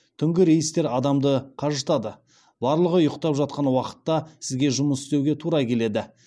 түнгі рейстер адамды қажытады барлығы ұйықтап жатқан уақытта сізге жұмыс істеуге тура келеді